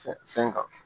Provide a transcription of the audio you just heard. Fɛn fɛn kan